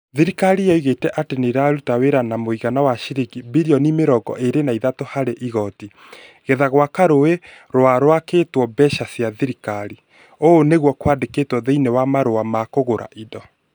Thirikari yoigĩte atĩ nĩ ĩraruta wĩra na mũigana wa ciringi birioni mĩrongo ĩre na ithatũ harĩ igooti. Getha gwaka rũũĩ rũa rũakitwo mbeca cia thirikari. ũũ niguo kwandĩkĩtwo thĩinĩ wa marũa ma kũgũra indo.